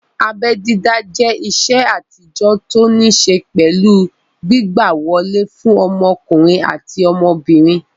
Abẹ́ dídá jẹ́ ìṣe àtijọ́ tó ní ṣé pẹ̀lú gbígbà wọlé fún ọmọkùnrin àti ọmọbìnrin